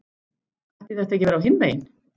Ætti þetta ekki að vera á hinn veginn?